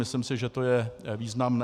Myslím si, že to je významné.